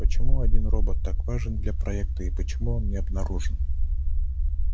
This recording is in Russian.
почему один робот так важен для проекта и почему он не обнаружен